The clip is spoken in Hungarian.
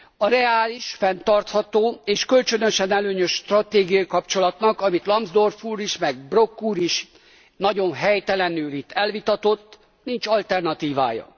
A reális, fenntartható és kölcsönösen előnyös stratégiai kapcsolatnak, amit Lambsdorff úr is, meg Brok úr is nagyon helytelenül itt elvitatott, nincs alternatívája.